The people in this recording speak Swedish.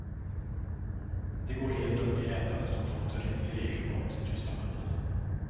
De går helt upp i ätandet och låter i regel maten tysta munnen.